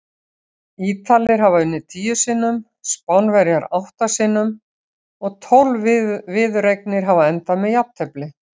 Ítalir hafa unnið tíu sinnum, Spánverjar átta sinnum og tólf viðureignir hafa endað með jafntefli.